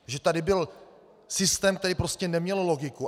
Že tady byl systém, který prostě neměl logiku.